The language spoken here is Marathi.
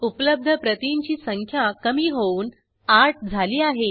उपलब्ध प्रतींची संख्या कमी होऊन 8 झाली आहे